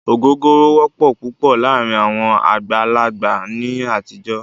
Ògógóró wọ́pọ̀ púpọ̀ láàárín àwọn àgbàlagbà ní àtijọ́.